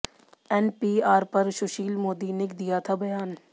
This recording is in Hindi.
एनपीआर पर सुशील मोदी ने दिया था बयान